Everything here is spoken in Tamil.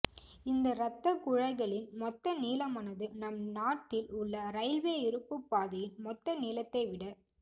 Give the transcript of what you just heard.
இந்த ரத்தக் குழாய்களின் மொத்த நீளமானது நம் நாட்டில் உள்ள ரயில்வே இரும்புப் பாதையன் மொத்த நீளத்தை விட